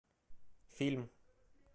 фильм